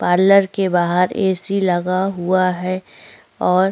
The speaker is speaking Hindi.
पार्लर के बाहर ऐ. सी. लगा हुआ है और--